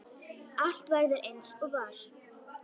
Allt verður eins og var.